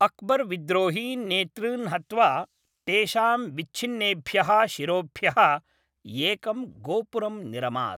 अक्बर् विद्रोहीन् नेतृन् हत्वा तेषां विच्छिन्नेभ्यः शिरोभ्यः एकं गोपुरं निरमात्।